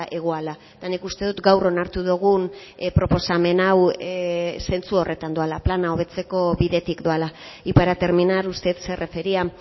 egoala eta nik uste dut gaur onartu dugun proposamen hau zentzu horretan doala plana hobetzeko bidetik doala y para terminar usted se refería